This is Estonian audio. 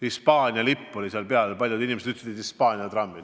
Hispaania lipp oli neil peal ja paljud inimesed ütlesid, et need on Hispaania trammid.